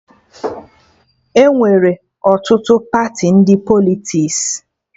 Enwere ọtụtụ Pati ndị Politiks